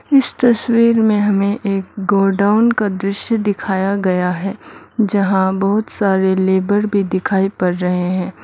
इस तस्वीर में हमें एक गोडाउन का दृश्य दिखाया गया है जहां बहुत सारे लेबर भी भी दिखाई पड़ रहे हैं।